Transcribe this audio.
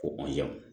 Ko